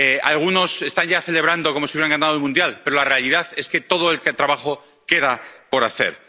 Algunos están ya celebrándolo como si hubieran ganado el Mundial, pero la realidad es que todo el trabajo queda aún por hacer.